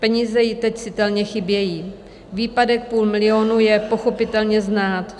Peníze jí teď citelně chybějí, výpadek půl milionu je pochopitelně znát.